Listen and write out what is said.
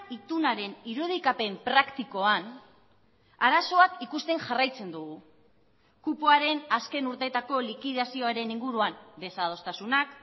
itunaren irudikapen praktikoan arazoak ikusten jarraitzen dugu kupoaren azken urteetako likidazioaren inguruan desadostasunak